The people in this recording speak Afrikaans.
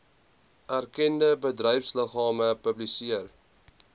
erkende bedryfsliggame publiseer